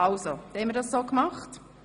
– Das ist der Fall.